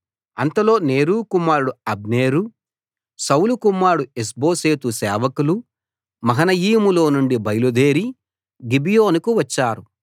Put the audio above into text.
అంతలో నేరు కుమారుడు Abner Saul కుమారుడు ఇష్బోషెతు సేవకులు మహనయీములో నుండి బయలుదేరి గిబియోనుకు వచ్చారు